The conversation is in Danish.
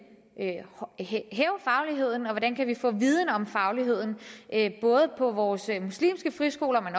kan hæve fagligheden og hvordan vi kan få viden om fagligheden både på vores muslimske friskoler